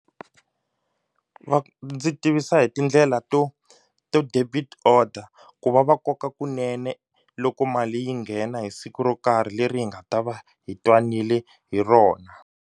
Ndzi tivisa hi tindlela to to debit order ku va va koka kunene loko mali yi nghena hi siku ro karhi leri hi nga ta va hi twanile hi rona.